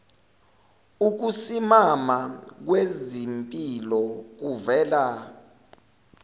ukusimama kwezimpilo kuvela